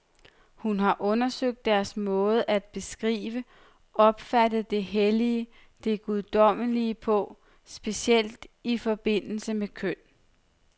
Hun har undersøgt deres måde at beskrive, opfatte det hellige, det guddommelige på, specielt i forbindelse med køn.